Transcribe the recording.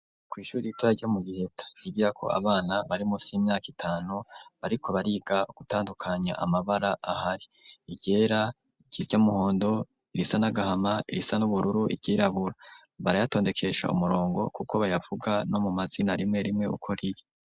Kw'ishuri ritoya ryo mu Giheta ryigirako abana bari musi y'imyaka itanu, bariko bariga gutandukanya amabara ahari, iryera, iry'umuhondo, irisa n'agahama, irisa n'ubururu, iryirabura, barayatondekesha umurongo kuko bayavuga no mu mazina rimwe rimwe uko riri.